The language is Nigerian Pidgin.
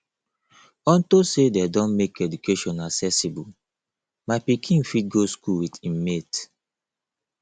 unto say dey don make education accessible my pikin fit go school with im mate